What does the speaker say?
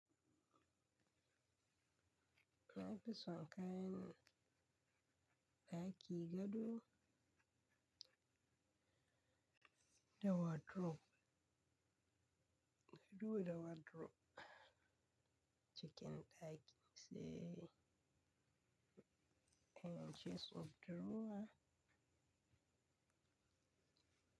Na fi son kayan da ake gado da wardrobe. Gado da wardrobe, cikin ɗakin sai irin jinsin drawer.